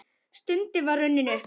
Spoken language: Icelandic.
Stundin var runnin upp!